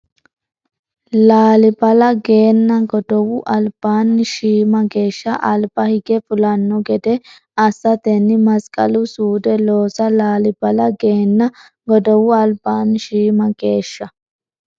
Laalibala geenna godowu albaanni shiima geeshsha alba hige fulanno gede assatenni masqalu suude loosa Laalibala geenna godowu albaanni shiima geeshsha.